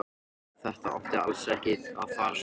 Þetta átti alls ekki að fara svona.